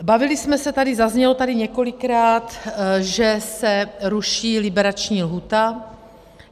Bavili jsme se tady, zaznělo tady několikrát, že se ruší liberační lhůta.